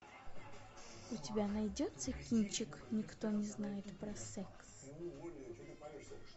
у тебя найдется кинчик никто не знает про секс